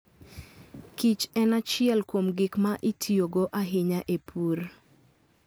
Kichen achiel kuom gik ma itiyogo ahinya e pur.